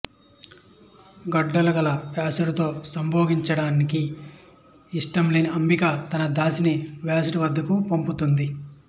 గడ్డాలు గల వ్యాసుడితో సంభోగించడానికి ఇష్టం లేని అంబిక తన దాసిని వ్యాసుడి వద్దకు పంపుతుంది